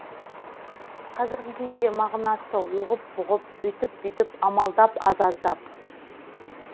қазіргі кездегі мағынасы оғып бұғып өйтіп бүйтіп амалдап аз аздап